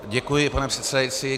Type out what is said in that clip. Děkuji, pane předsedající.